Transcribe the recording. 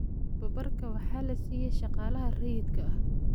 Tababarka waxaa la siiyaa shaqaalaha rayidka ah.